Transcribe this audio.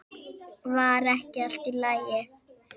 Var ekki allt í lagi?